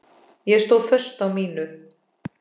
Ég stóð föst á mínu.